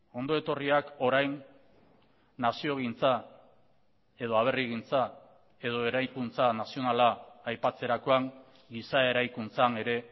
ondo etorriak orain naziogintza edo aberrigintza edo eraikuntza nazionala aipatzerakoan giza eraikuntzan ere